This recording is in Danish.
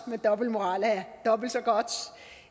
men dobbeltmoral er dobbelt så godt